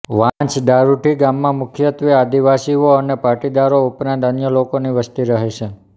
વાંસદારુંઢી ગામમાં મુખ્યત્વે આદિવાસીઓ અને પાટીદારો ઉપરાંત અન્ય લોકોની વસ્તી રહે છે